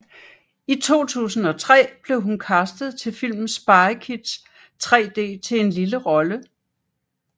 I 2003 blev hun castet til filmen Spy Kids 3D til en lille rolle